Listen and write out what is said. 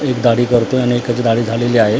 एक दाढी करतोय आणि एकाची दाढी झालेली आहे.